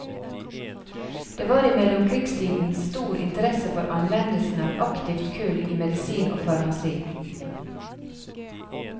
Det var i mellomkrigstiden stor interesse for anvendelsen av aktivt kull i medisin og farmasi.